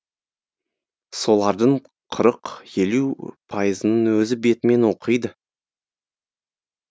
солардың қырық елу пайызын өзі бетімен оқиды